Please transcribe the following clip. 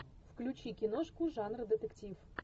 включи киношку жанра детектив